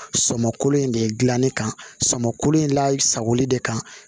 Sɔmun in de dilanni kan sɔmoko in la sagoli de kan